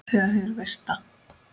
Þegar hið virta